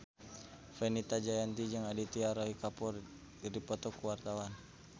Fenita Jayanti jeung Aditya Roy Kapoor keur dipoto ku wartawan